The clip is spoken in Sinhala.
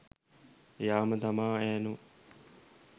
එයාම තමා ඇනෝ